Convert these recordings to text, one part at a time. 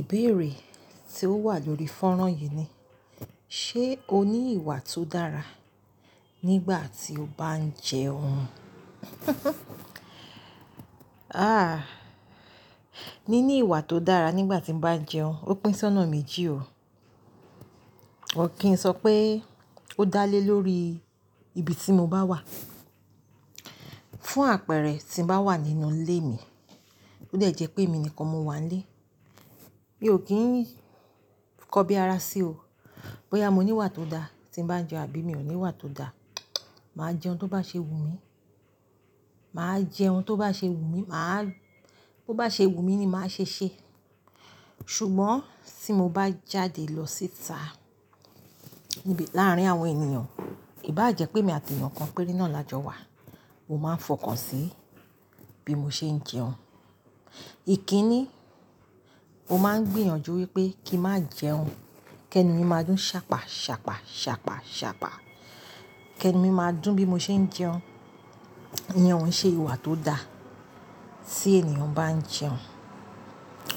Ìbéèrè tí ó wà lórí fọ́nrán yìí ni, ṣe o ní ìwà tó dára nígbà tí o bá ń jẹun? Àh, nínú ìwà tó dára nígbà tí mo bá ń jẹun, ó pín sí ọ̀nà méjì o. Or kì n sọ pé ó dá lé lórí ibi tí mo bá wà. Fún àpẹẹrẹ, tí n bá wà nínú ilé mi, ó dẹ̀ jẹ́ pé èmi nìkan mo wà n lé. Mi ò kí ń kọbi ara sí o. Bóyá mo ní ìwà tó dá tí mo bá ń jẹun àbí mi ò ní ìwà tó dá, màá jẹun tó bá ṣe wù mí. Màá jẹun tó bá ṣe wù mí. Màá-- tó bá ṣe wù mí ni màá ṣe ṣé. Ṣùgbọ́n tí mo bá jáde lọ síta níbi láàárín àwọn ènìyàn, ìbá jẹ́ pé èmi àti èèyàn kan péré náà la jọ wà, mo máa ń fọkàn sí bí mo ṣe ń jẹun. Ikíni, máa ń gbìyànjú wípé kí n má jẹun, kí ẹni mi máa dún ṣàpá, ṣàpá, ṣàpá, ṣàpá. Kí ẹni mi máa dún bí mo ṣe ń jẹun. Iyẹn òún ṣe ìwà tó dá. Tí ènìyàn bá ń jẹun,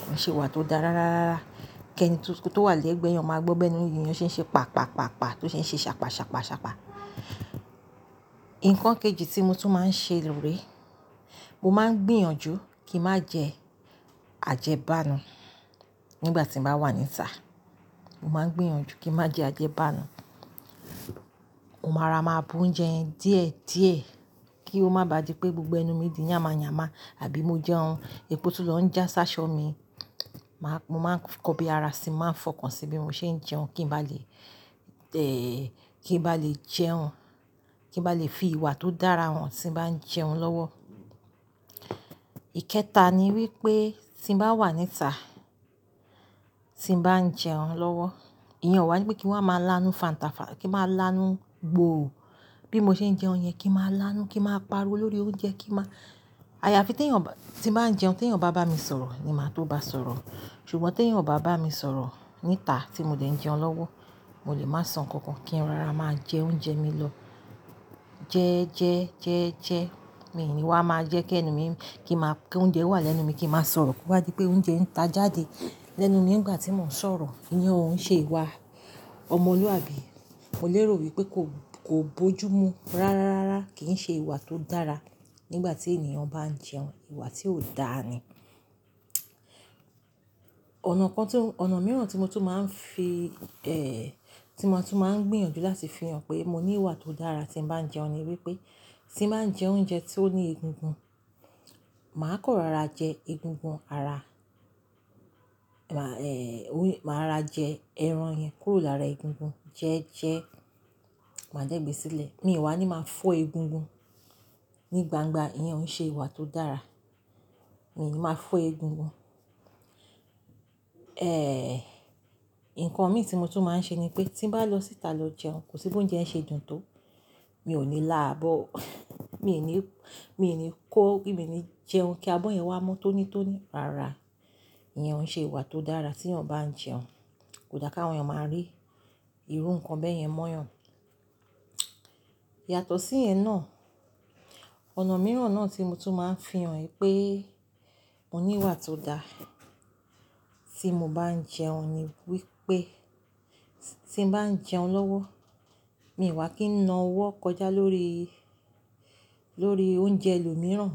kò i ṣe ìwà tó dá rá rá rá rá. Kí ẹni tó, tó wà lẹ́gbẹ̀ẹ́ ẹyan máa gbọ́bẹ́ bi enú ẹniyan ṣe ń ṣe pàpà, pàpà, pàpà, tó ṣe ń ṣe ṣàpá, ṣàpá, ṣàpá. Ǹkan kejì tí mo tún máa ń ṣe lóre, mo máa ń gbìyànjú kí n má jẹ àjẹbánu nígbà tí mo bá wà níta. Mo máa ń gbìyànjú kí n má jẹ àjẹbánu. Mo máa ra máa bú oúnjẹ yẹn díẹ̀ díẹ̀ kí ó má bà di pé gbogbo ẹnu mi di yàmá yàmá àbí mo jẹun, epo tún ló ń jà ṣáṣọ mi. Màá-- mo máa ń kọbi ara sí, màá ń fọkàn sí bí mo ṣe ń jẹun kí n bá lè, eh, kí n bá lè jẹun, kí n bá lè fi ìwà tó dára hàn tí n bá ń jẹun lọ́wọ́. Ikẹta ni wípé tí n bá wà níta, tí n bá ń jẹun lọ́wọ́, iyẹn o wá wípé kí n wa máa lánú fàǹtà fá-- kí n máa ń lánú gbòó bí mo ṣe ń jẹun yẹn, kí n máa ń lánú, kí n máa pariwo lórí oúnjẹ, kí màá-- àyàfi tí ẹ̀yan ò bá-- tí n bá ń jẹun tí ẹ̀yan bá bá mi sọ̀rọ̀ ni màá tó bá sọ̀rọ̀. Ṣùgbọ́n tí eyan ò bá bá mi sọ̀rọ̀ níta tí mo dẹ̀ ń jẹun lọ́wọ́, mo lè máa sọ̀ nkànkan kí n rora máa jẹ oúnjẹ mi lọ. Jẹ ẹ jẹ, jẹ ẹ jẹ. Mi ìwá máa jẹ́ kí ẹni mi, kí n má-- kí oúnjẹ wà lẹ́nu mi kí n máa sọ̀rọ̀ kó bá di pé oúnjẹ ń ta jáde lẹ́nu mi nígbà tí mò ń sọ̀rọ̀. Iyẹn ò ún ṣe ìwà ọmọlúwàbí. Mo lérò wípé kò, kò bojúmu rá rá rá rá. Kì í ṣe ìwà tó dára nígbà tí ènìyàn bá ń jẹun. Ìwà tí ò da ni. Ọ̀nà kan tí ó-- ọnà mìíràn tí mo tún máa ń fi, eh, tí mo tún máa ń gbìyànjú láti fi hàn pé mo ní ìwà tó dára tí mo bá ń jẹun ni wípé tí n bá ń jẹ oúnjẹ tí ó ní egungun, màá kọ̀ rara jẹ egungun ara. Màá, eh, òun-- màá ra jẹ ẹran yẹn kúrò lára egungun. Jẹ ẹ jẹ, màá dẹ̀ gbé sílẹ̀. Mi wá ni máa fọ́ egungun ní gbangba. Iyẹn òún ṣe ìwà tó dára. Mi ò ní máa fọ́ egungun. Eh, nkan mìí tí mo tún máa ń ṣe ni pé tí n bá lọ síta lọ jẹun, kò sí pé oúnjẹ ń ṣe dùn tó, mi ò ní lá abọ́. Mi ò ní, mi ò ní kó mo ní jẹun kí abọ́ yẹn wá mo tó ní tó ní. Rara, iyẹn òún ṣe ìwà tó dára tí èèyàn bá ń jẹun. Kò da káwọn èèyàn máa rí irú ǹkan bẹ́ yẹn mọ́yàn. Yàtọ̀ sí iyẹ̀n náà, ọ̀nà mìíràn náà tí mo tún máa ń fi hàn pé mo ní ìwà tó dára tí mo bá ń jẹun ni wípé tí n bá ń jẹun lọ́wọ́, mi ò wá kí n na ọwọ́ kọjá lórí, lórí oúnjẹ ẹlòmíràn.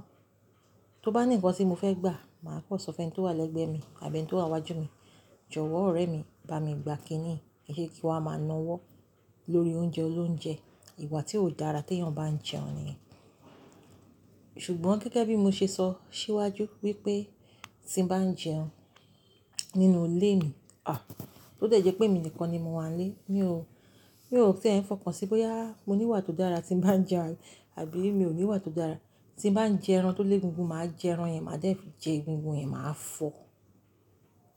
Tó bá ní nǹkan tí mo fẹ́ gbà, màá kọ́ sọ fún ẹni tó wà lẹ́gbẹ̀ẹ́ mi àbí ẹni tó wà iwájú mi. "Jọ̀wọ́ ọ̀rẹ́ mi, bá mi gba kíní yi" kii se kí n wá máa na ọwọ́ lórí oúnjẹ olóunjẹ. Ìwà tí ò dára tí èèyàn bá ń jẹun nìyẹn. Ṣùgbọ́n gẹ́gẹ́ bí mo ṣe sọ síwájú wípé tí n bá ń jẹun nínú ilé mi, ah, tó dẹ̀ jẹ́ pé èmi nìkan ni mo wà nílé, mi ò, mi ò ti ẹ ń fọkàn sí bóyá mo ní ìwà tó dára tí n bá ń jẹun àbí mi ò ní ìwà tó dára. Tí n bá ń jẹ ẹran tó lé egungun, màá jẹ ẹran yẹn, màá dẹ̀ jẹ egungun yẹn, màá fọ̀,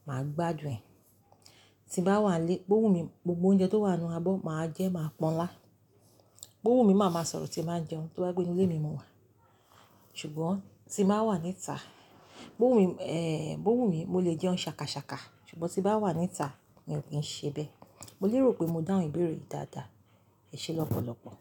màá gbádùn ẹ̀. Tí n bá wà nílé, bó wù mí gbogbo oúnjẹ tó wà nínú abọ́, màá jẹ ẹ máa pọ́n ńlá. Bó wù mí, màá máa sọ̀rọ̀ tí bá ń jẹun tó bá jé pe inu ilé mi mo wà. Ṣùgbọ́n tí n bá wà níta, bó wù mí, eh, bó wù mí, mo lè jẹun ṣàkàṣàkà. Ṣùgbọ́n tí n bá wà níta, mi ò kí ń ṣe bẹ́. Mo lérò pé mo dá ọ̀un ìbéèrè yìí dáadáa. Ẹ ṣé lọ́pọ̀lọ́pọ̀.